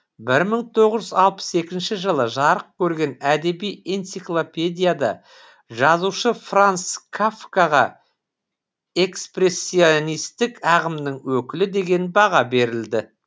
бір мың тоғыз жүз алпыс екінші жылы жарық көрген әдеби энциклопедияда жазушы франц кафкаға экспрессионистік ағымның өкілі деген баға беріледі